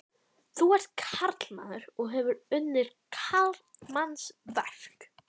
Þú ert karlmaður og hefur unnið karlmannsverk.